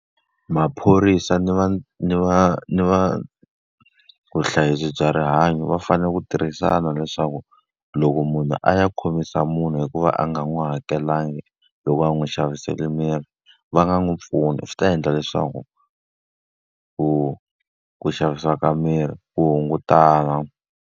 Maphorisa ni va ni va ni va vuhlayisi bya rihanyo va fanele ku tirhisana leswaku, loko munhu a ya khomisa munhu hikuva a nga n'wi n'wi hakelanga, loko a n'wi xavisele mirhi, va nga n'wi pfuni. Swi ta endla leswaku ku ku xavisiwa ka mirhi ku hungutana.